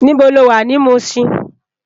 Nibó ló wá ni Mushin?